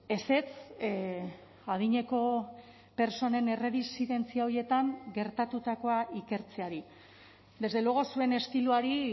ezetz adineko pertsonen erresidentzia horietan gertatutakoa ikertzeari desde luego zuen estiloari